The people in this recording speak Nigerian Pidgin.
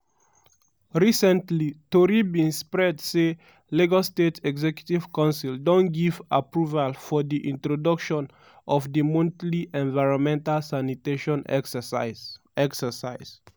recently tori bin spread say lagos state executive council don give approval for di introduction of di monthly environmental sanitation exercise. exercise.